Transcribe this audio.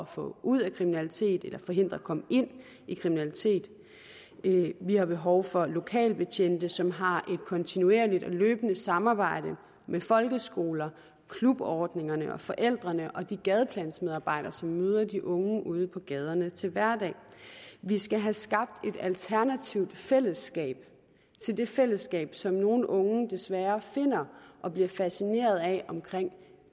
få ud af kriminalitet eller forhindrer i at komme ind i kriminalitet vi har behov for lokale betjente som har et kontinuerligt og løbende samarbejde med folkeskolerne klubordningerne og forældrene og de gadeplansmedarbejdere som møder de unge uden på gaderne til hverdag vi skal have skabt et alternativt fællesskab til det fællesskab som nogle unge desværre finder og bliver fascineret af omkring